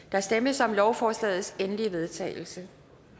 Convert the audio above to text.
der stemmes om lovforslagets endelige vedtagelse